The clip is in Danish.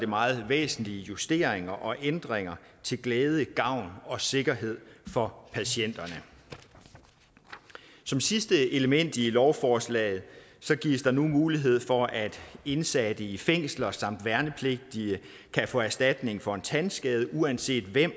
meget væsentlige justeringer og ændringer til glæde gavn og sikkerhed for patienterne som sidste element i lovforslaget gives der nu mulighed for at indsatte i fængsler samt værnepligtige kan få erstatning for tandskader uanset hvem